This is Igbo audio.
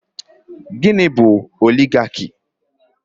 Gịnị bụ Oligaki?